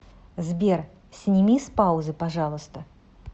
сбер сними с паузы пожалуйста